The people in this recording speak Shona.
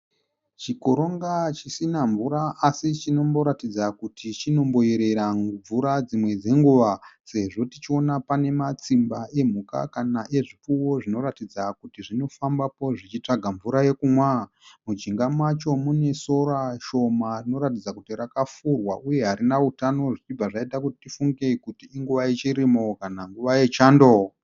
Chikoronga chisina mvura asi chinomboratidza kuti chinomboyerera mvura dzimwe dzenguva sezvo tichiona pane matsimba emhuka kana ezvipfuwo zvinoratidza kuti zvinofambapo zvichitsvaga mvura yekumwa. Mujinga macho mune sora shoma rinoratidza kuti rakafurwa uye harina utano zvichibva zvaita kuti tifunge kuti inguva yechirimo kana nguva yechando.